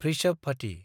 भृषभबती